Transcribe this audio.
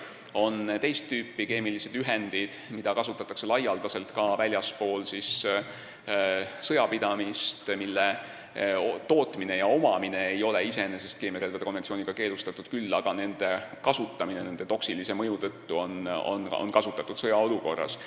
Ja on teist tüüpi keemilised ühendid, mida kasutatakse laialdaselt ka väljaspool sõjapidamist, mille tootmine ja omamine ei ole iseenesest keemiarelvade konventsiooniga keelustatud, kuid kasutamine nende toksilise mõju tõttu on keelatud sõjaolukorras.